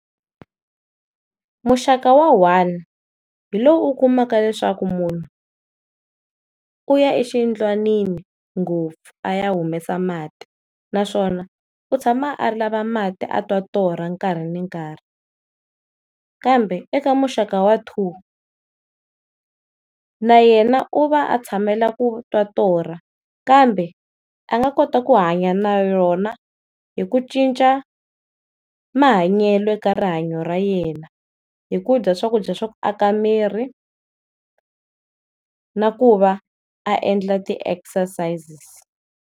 Muxaka wa one hi lowu u kumaka leswaku munhu u ya exiyindlwanini ngopfu a ya humesa mati naswona u tshama a lava mati a twa torha nkarhi ni nkarhi, kambe eka muxaka wa two na yena u va a tshamela ku twa torha kambe a nga kota ku hanya na yona hi ku cinca mahanyelo eka rihanyo ra yena, hi ku dya swakudya swa ku aka miri na ku va a endla ti-exercises.